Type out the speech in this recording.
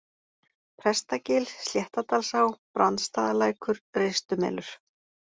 Prestagil, Sléttadalsá, Brandsstaðalækur, Ristumelur